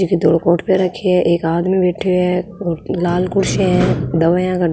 एक धोलों कोट पहर रखो है एक आदमी बैठो है और लाल कुर्सियां है दवाईयां का --